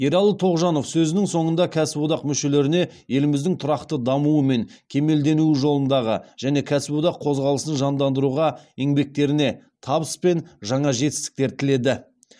ералы тоғжанов сөзінің соңында кәсіподақ мүшелеріне еліміздің тұрақты дамуы мен кемелденуі жолындағы және кәсіподақ қозғалысын жандандыруға еңбектеріне табыс пен жаңа жетістіктер тіледі